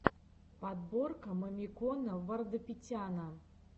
подборка мамикона вардапетяна